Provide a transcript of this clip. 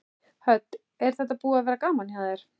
Hödd: Er þetta búið að vera gaman hjá þér?